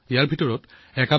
সেইবোৰ দেখা পালে থৰ হৈ ৰব